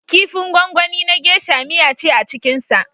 Kifin gwangwani na gesha (geisha) miya ce a cikinsa.